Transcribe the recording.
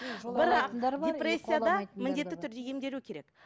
бірақ депрессияда міндетті түрде емделу керек